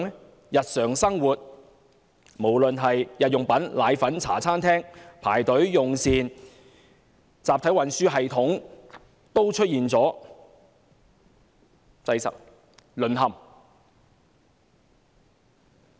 在日常生活方面，無論是購買日用品、或奶粉，還是在茶餐廳用膳也要排隊，集體運輸系統出現擠塞、淪陷。